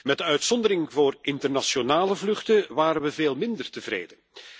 Met de uitzondering voor internationale vluchten waren we veel minder tevreden.